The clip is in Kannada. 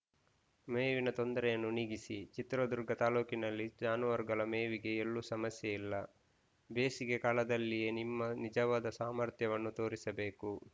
ಮೇವಿನ ತೊಂದರೆಯನ್ನೂ ನೀಗಿಸಿ ಚಿತ್ರದುರ್ಗ ತಾಲೂಕಿನಲ್ಲಿ ಜಾನುವಾರುಗಳ ಮೇವಿಗೆ ಎಲ್ಲೂ ಸಮಸ್ಯೆಯಿಲ್ಲ ಬೇಸಿಗೆ ಕಾಲದಲ್ಲಿಯೇ ನಿಮ್ಮ ನಿಜವಾದ ಸಾಮರ್ಥ್ಯವನ್ನು ತೋರಿಸಬೇಕು